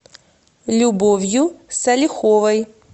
любовью салиховой